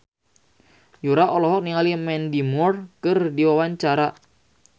Yura olohok ningali Mandy Moore keur diwawancara